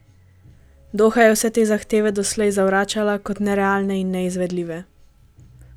Doha je vse te zahteve doslej zavračala kot nerealne in neizvedljive.